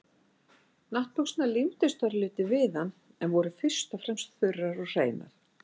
Náttbuxurnar límdust örlítið við hann en voru fyrst og fremst þurrar og hreinar.